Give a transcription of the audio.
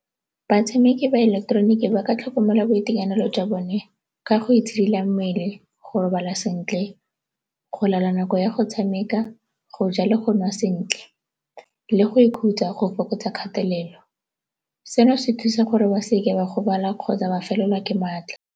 Batshameki ba ileketeroniki ba ka tlhokomela boitekanelo jwa bone ka go itshidila mmele, go robala sentle, go laola nako ya go tshameka, go ja le go nwa sentle le go ikhutsa go fokotsa kgatelelo. Seno se thusa gore ba se ke ba gobala kgotsa ba felelwa ke maatla.